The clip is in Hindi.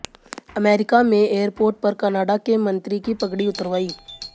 अमेरिका में एयरपोर्ट पर कनाडा के मंत्री की पगड़ी उतरवाई